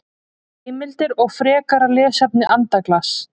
Heimildir og frekara lesefni Andaglas.